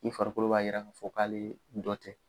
Ni farikolo b'a yira k'a fɔ k'ale dɔ tɛ.